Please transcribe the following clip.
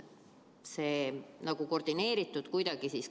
Kas te võite seda kinnitada?